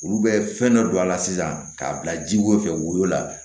Olu bɛ fɛn dɔ don a la sisan k'a bila ji ko fɛ woyo la